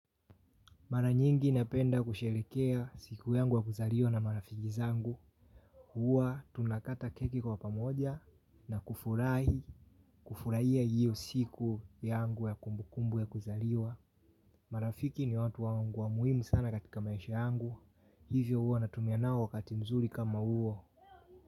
Mara nyingi napenda kusherehekea siku yangu ya kuzaliwa na marafiki zangu. Huwa tunakata keki kwa pamoja na kufurahi, kufurahia iyo siku yangu ya kumbukumbu ya kuzaliwa. Marafiki ni watu wangu wa muhimu sana katika maisha yangu. Hivyo huwa natumia nao wakati mzuri kama huo.